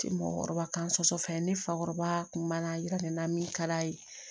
Mɔgɔkɔrɔba kan soso fɛn ne fakɔrɔba kun b'a yira ne na min ka d'a ye